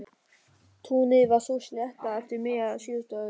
Túnið var svo sléttað eftir miðja síðustu öld.